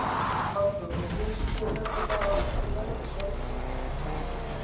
Hafþór: Og finnst þér þetta bara allt í lagi sjálfri?